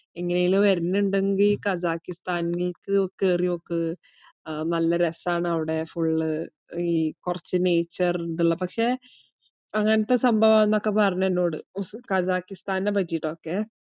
എങ്ങനേലും വരുണുണ്ടെങ്കി ഖസാക്കിസ്ഥാനിലേക്ക്‌ കേറിയോക്ക് ആഹ് നല രസാണവിടെ full ഈ കൊറച് nature ഇതിള്ള. പക്ഷേ അങ്ങനത്തെ സംഭവാന്നൊക്കെ പറഞ്ഞ് എന്നോട് ഉസ്~ ഖസാക്കിസ്ഥാനെ പറ്റീട്ടൊക്കെ.